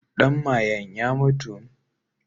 Ɗan mayen ya mutu.